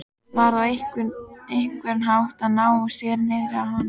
Varð á einhvern hátt að ná sér niðri á henni.